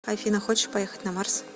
афина хочешь поехать на марс